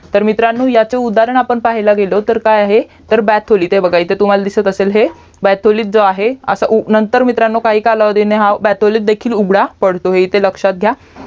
तर मित्रांनो ह्याचे उदाहरण पाहायाला गेलो तर काय आहे BATHOLI एथे बघा इथे दिसत असेल हे BATHOLI जो आहे नंतर मित्रांनो काही कलावधीने उघडा BATHOLI देखील उघडा पडतो इथे लक्ष्यात घ्या